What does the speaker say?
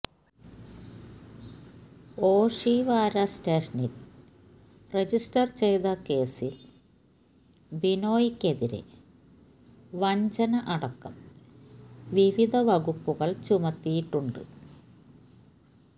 ഓഷിവാര സ്റ്റേഷനിൽ രജിസ്റ്റർ ചെയ്ത കേസിൽ ബിനോയ്ക്കെതിരെ വഞ്ചന അടക്കം വിവിധ വകുപ്പുകൾ ചുമത്തിയിട്ടുണ്ട്